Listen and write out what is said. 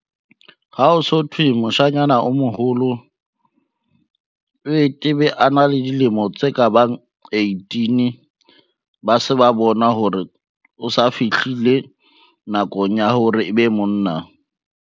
Ha o so thwe, moshanyana o moholo, o e a na le dilemo tse ka bang eighteen. Ba se ba bona hore o sa fihlile nakong ya hore e be monna.